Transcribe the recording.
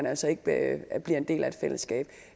altså ikke bliver en del af et fællesskab